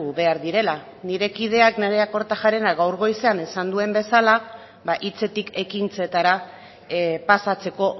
behar direla nire kideak nerea kortajarenak gaur goizean esan duen bezala hitzetik ekintzetara pasatzeko